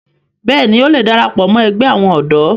bẹ́ẹ̀ni, ó le darapọ̀ ẹgbẹ́ àwọn ọ̀dọ́